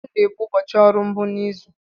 Mọnde bụ ụbọchị ọrụ mbụ n'izu.